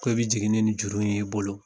Ko i be jigin ne nin juru in ye i bolo.